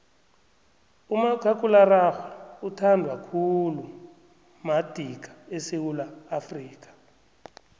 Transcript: umakhakhulararhwe uthandwa khulu madika esewula afrika